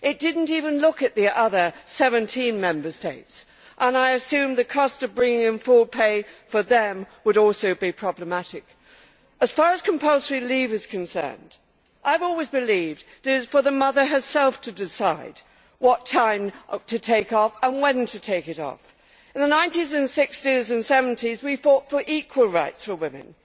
It did not even look at the other 17 Member States, and I assume the cost of bringing in full pay for them would also be problematic. As far as compulsory leave is concerned, I have always believed that it is for the mother herself to decide what time to take off and when to take it off. In the 1960s and 70s, we fought for equal rights for women